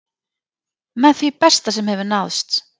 Með því besta sem hefur náðst